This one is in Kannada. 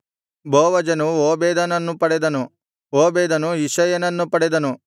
ಬೋವಜನು ಓಬೇದನನ್ನು ಪಡೆದನು ಓಬೇದನು ಇಷಯನನ್ನು ಪಡೆದನು